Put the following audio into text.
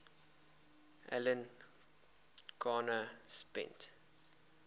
alan garner spent